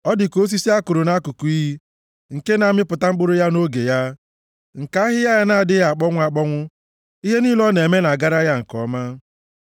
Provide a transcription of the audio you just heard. Ọ dị ka osisi a kụrụ nʼakụkụ iyi, nke na-amịpụta mkpụrụ ya nʼoge ya, nke ahịhịa ya na-adịghị akpọnwụ akpọnwụ. Ihe niile ọ na-eme na-agara ya nke ọma.